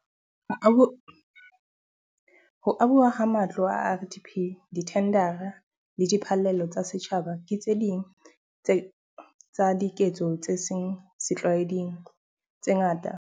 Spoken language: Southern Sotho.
Ho abuwa ha matlo a RDP, dithendara le diphallelo tsa setjhaba ke tse ding tsa diketso tse seng setlwaeding tse ngata ka ho fetisisa tse tlalewang.